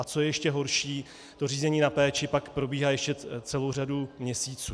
A co je ještě horší, to řízení na péči pak probíhá ještě celou řadu měsíců.